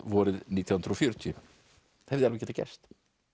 vorið nítján hundruð og fjörutíu hefði alveg getað gerst